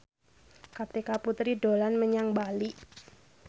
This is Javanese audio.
Kartika Putri dolan menyang Bali